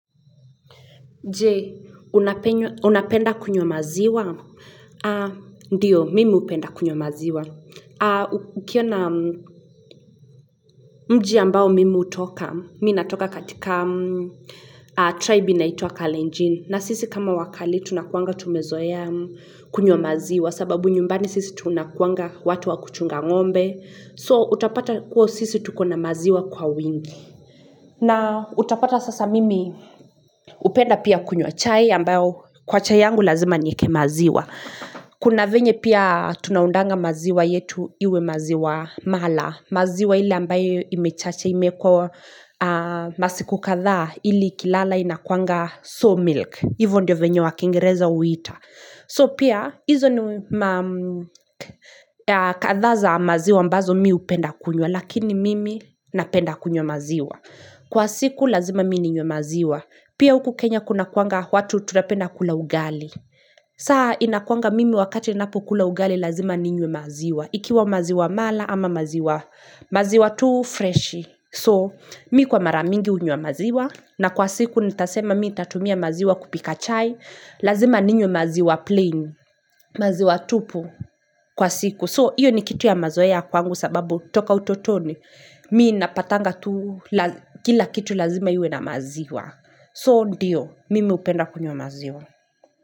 Jee, unapenda kunywa maziwa? Ndio, mimi upenda kunywa maziwa. Ukiona mji ambao mimi utoka, mimi natoka katika tribe naitwa Kalenjin. Na sisi kama wakale tunakuwanga tumezoea kunywa maziwa sababu nyumbani sisi tunakuanga watu wakuchunga ng'ombe. So utapata kuwa sisi tuko na maziwa kwa wingi na utapata sasa mimi upenda pia kunywa chai ambao kwa chai yangu lazima nieke maziwa Kuna venye pia tunaundanga maziwa yetu iwe maziwa mala, maziwa ile ambayo imechacha imekwa masiku kadhaa ili ikilala inakuanga sour milk, hivo ndio venye wa kingereza huita. So pia hizo ni kadhaa za maziwa ambazo mi upenda kunywa lakini mimi napenda kunywa maziwa. Kwa siku lazima mi ninywe maziwa. Pia uku Kenya kuna kuanga watu tunapenda kula ugali. Saa inakuanga mimi wakati inapo kula ugali lazima ninywe maziwa. Ikiwa maziwa mala ama maziwa. Maziwa tuu fresh so mimi kwa mara mingi unywa maziwa na kwa siku nitasema mimi tatumia maziwa kupika chai lazima ninywe maziwa plain maziwa tupu kwa siku, so hiyo ni kitu ya mazoea kwangu sababu toka utotoni mimi napatanga tuu kila kitu lazima iwe na maziwa, so ndio mimi hupenda kunywa maziwa.